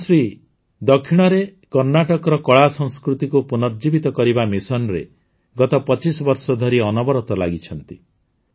କ୍ୱେମ୍ଶ୍ରୀ ଦକ୍ଷିଣରେ କର୍ଣ୍ଣାଟକର କଳାସଂସ୍କୃତିକୁ ପୁନର୍ଜୀବିତ କରିବା ମିଶନରେ ଗତ ୨୫ ବର୍ଷ ଧରି ଅନବରତ ଲାଗିଛନ୍ତି